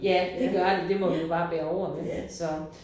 Ja det gør det det må vi jo bare bære over med så